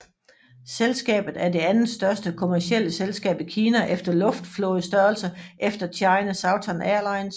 Selskabet er det andetstørste kommercielle selskab i Kina efter luftflådestørrelse efter China Southern Airlines